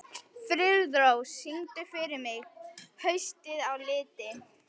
Friðrós, syngdu fyrir mig „Haustið á liti“.